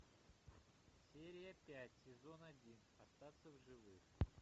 серия пять сезон один остаться в живых